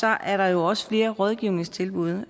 er der også flere rådgivningstilbud